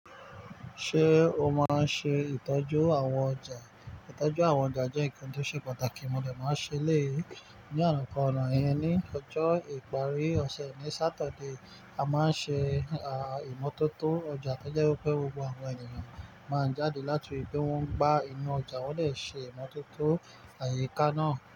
Ṣé o máa ń ṣe ìtọ́jú àwọn ọjà? Ìtọ́jú àwọn ọjà jẹ́ ǹkan tó ṣe pàtàkì, mo lè máa ṣe léèýi. Ní ààrùn kan ọ̀nà yẹn, ní ọjọ́ ìparí ọ̀sẹ̀ ní Saturday, a máa ń ṣe, aa, ìmọ́tótó ọjà tójẹ́ wípé gbogbo àwọn ènìyàn máa ń jáde láti ríi pé wọ́n ń gba inú ọjà, wọ́n dẹ̀ ṣe ìmọ́tótó àyíká náà.